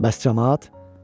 Bəs camaat?